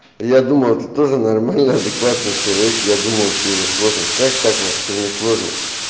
я думал ты тоже нормальный адекватный человек я думал тебе несложно как так вообще несложно